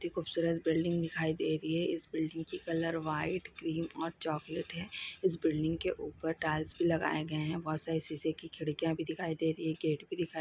खूबसूरत बिल्डिंग दिखाई दे रही है इस बिल्डिंग की कलर व्हाइट क्रीम और चॉकलेट है इस बिल्डिंग के ऊपर टाइल भी लगाए गए हैं और सही शीशे भी दिखाई दे रही गेट भी दिखाई--